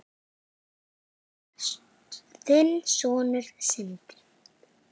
Þinn sonur, Sindri.